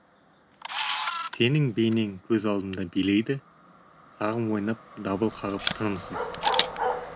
сенің бейнең көз алдымда билейді сағым ойнап дабыл қағып тынымсыз